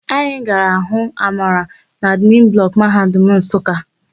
Anyị gara hụ Amara n'admin blọkụ Mahadum Nsụka.